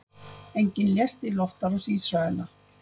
Enginn lést í loftárás Ísraela